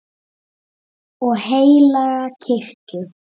og heilaga kirkju